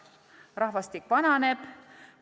Rahvastik vananeb.